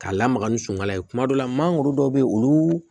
K'a lamaga ni sunkala ye kuma dɔ la mangoro dɔw bɛ yen olu